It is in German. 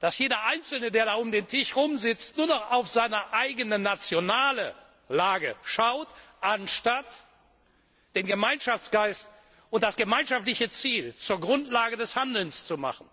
dass jeder Einzelne, der da am Tisch sitzt, nur noch auf seine eigene nationale Lage schaut, anstatt den Gemeinschaftsgeist und das gemeinschaftliche Ziel zur Grundlage des Handelns zu machen.